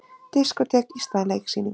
Diskótek í stað leiksýninga